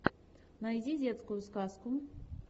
найди детскую сказку